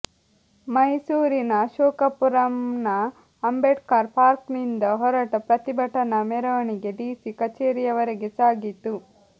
ಮೈಸೂರಿನ ಅಶೋಕಪುರಂನ ಅಂಬೇಡ್ಕರ್ ಪಾರ್ಕ್ ನಿಂದ ಹೊರಟ ಪ್ರತಿಭಟನಾ ಮೆರವಣಿಗೆ ಡಿಸಿ ಕಚೇರಿಯವರೆಗೆ ಸಾಗಿತು